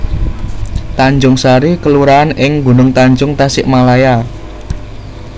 Tanjungsari kelurahan ing Gunungtanjung Tasikmalaya